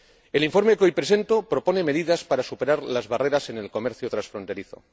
El informe que hoy presento propone medidas para superar las barreras en el comercio transfronterizo.